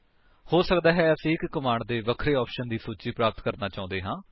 ਹੋ ਸਕਦਾ ਹੈ ਕਿ ਅਸੀਂ ਇੱਕ ਕਮਾਂਡ ਦੇ ਵੱਖਰੇ ਆਪਸ਼ਨਸ ਦੀ ਸੂਚੀ ਪ੍ਰਾਪਤ ਕਰਨਾ ਚਾਹੁੰਦੇ ਹਾਂ